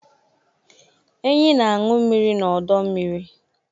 enyí na-aṅụ mmiri n'ọdọ mmiri